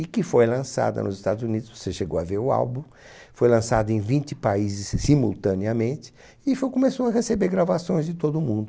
E que foi lançada nos Estados Unidos, você chegou a ver o álbum, foi lançada em vinte países simultaneamente e foi começou a receber gravações de todo mundo.